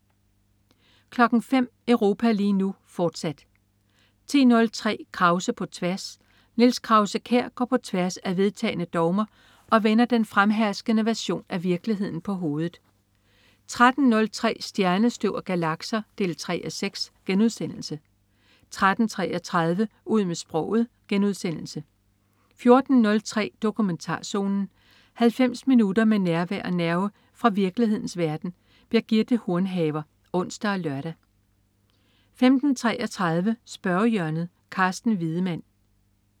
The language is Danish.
05.00 Europa lige nu, fortsat 10.03 Krause på tværs. Niels Krause-Kjær går på tværs af vedtagne dogmer og vender den fremherskende version af virkeligheden på hovedet 13.03 Stjernestøv og galakser 3:6* 13.33 Ud med sproget* 14.03 Dokumentarzonen. 90 minutter med nærvær og nerve fra virkelighedens verden. Birgitte Hornhaver (ons og lør) 15.33 Spørgehjørnet. Carsten Wiedemann